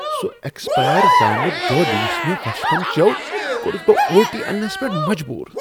سُہ ایکسپیر زامت دۄد یَس مےٚ وشفن چیوٚو کوٚرُس بہٕ وُلٹی اننس پیٹھ مجبور ۔